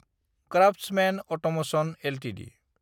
craftsmen automation Ltd